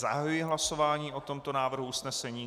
Zahajuji hlasování o tomto návrhu usnesení.